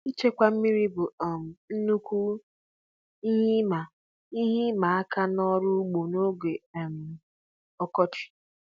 Ịchịkwa mmiri bụ um nnukwu ihe ịma ihe ịma aka n'ọrụ ugbo n'oge um ọkọchị.